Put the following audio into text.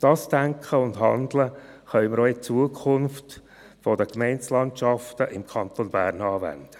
Dieses Denken und Handeln können wir in Zukunft auch bei den Gemeindelandschaften im Kanton Bern anwenden.